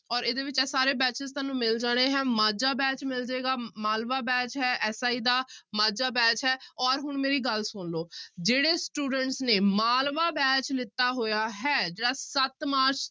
ਔਰ ਇਹਦੇ ਵਿੱਚ ਇਹ ਸਾਰੇ batches ਤੁਹਾਨੂੰ ਮਿਲ ਜਾਣੇ ਹੈ ਮਾਝਾ batch ਮਿਲ ਜਾਏਗਾ, ਮਾਲਵਾ batch ਹੈ SI ਦਾ ਮਾਝਾ batch ਹੈ ਔਰ ਹੁਣ ਮੇਰੀ ਗੱਲ ਸੁਣ ਲਓ ਜਿਹੜੇ students ਨੇ ਮਾਲਵਾ batch ਲਿੱਤਾ ਹੋਇਆ ਹੈ ਜਿਹੜਾ ਸੱਤ ਮਾਰਚ